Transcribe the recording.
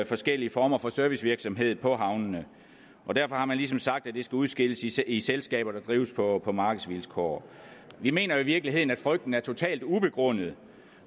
forskellige former for servicevirksomhed på havnene og derfor har man ligesom sagt at det skal udskilles i selskaber der drives på på markedsvilkår vi mener i virkeligheden at frygten er totalt ubegrundet